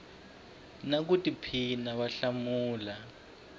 na ku tiphina va hlamula